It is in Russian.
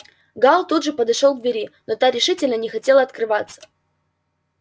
гаал тут же подошёл к двери но та решительно не хотела открываться